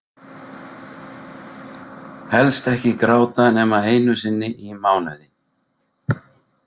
Helst ekki gráta nema einu sinni í mánuði.